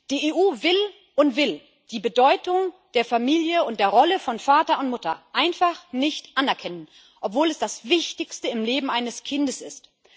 Die EU will die Bedeutung der Familie und die Rolle von Vater und Mutter einfach nicht anerkennen, obwohl es das Wichtigste im Leben eines Kindes ist.